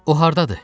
O hardadır?